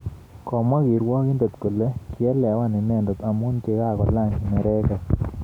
Komwa kirwogindet kole kiielewan inendet amu kokakolaany neregek